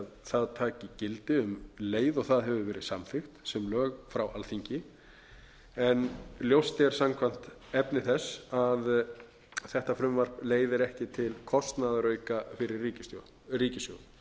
það taki gildi um leið og það hefur verið samþykkt sem lög frá alþingi en ljóst er samkvæmt efni þess að þetta frumvarp leiðir ekki til kostnaðarauka fyrir ríkissjóð